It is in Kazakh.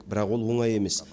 бірақ ол оңай емес